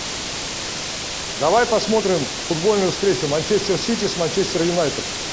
давай посмотрим футбольную встречу манчестер сити с манчестер юнайтед